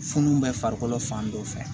Funu bɛ farikolo fan dɔ fɛ